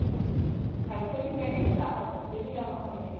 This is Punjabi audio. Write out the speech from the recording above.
ਖਰਚੇ ਵੀ ਮੈਂ ਕਹਿਣੀ ਹਾਂ ਜਿਆਦਾ ਖਰਚੇ ਵੀ ਜਿਆਦਾ ਹੋਏ ਹੈ